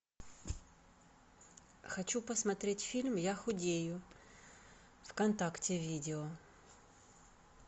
хочу посмотреть фильм я худею вконтакте видео